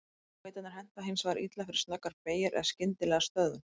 Skautarnir henta hins vegar illa fyrir snöggar beygjur eða skyndilega stöðvun.